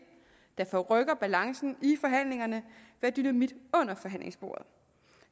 der forrykker balancen i forhandlingerne være dynamit under forhandlingsbordet